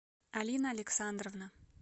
алина александровна